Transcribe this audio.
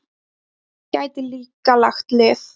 Að það gæti líka lagt lið.